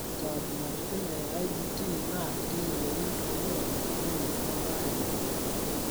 Ore inkabilaritin e IJT naa keyiolouni toorbulabol lenye o embaare enye.